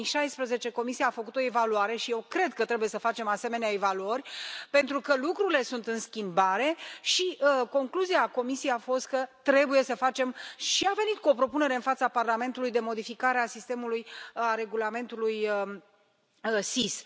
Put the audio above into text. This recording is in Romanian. În 2016, Comisia a făcut o evaluare și eu cred că trebuie să facem asemenea evaluări, pentru că lucrurile sunt în schimbare și concluzia Comisiei a fost că trebuie să facem și a venit cu o propunere în fața Parlamentului de modificare a regulamentului SIS.